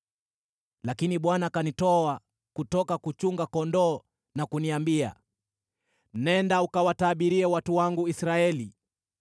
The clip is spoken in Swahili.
Lakini Bwana akanitoa kutoka kuchunga kondoo na kuniambia, ‘Nenda, ukawatabirie watu wangu Israeli.’